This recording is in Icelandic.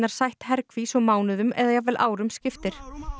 sætt herkví svo mánuðum eða jafnvel árum skiptir